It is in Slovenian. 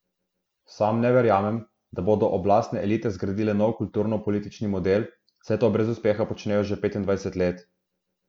Sam ne verjamem, da bodo oblastne elite zgradile nov kulturnopolitični model, saj to brez uspeha počnejo že petindvajset let.